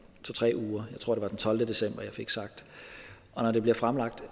tre uger jeg tror det var den tolvte december jeg fik sagt og når det bliver fremsat